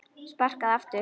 Sparkað aftur.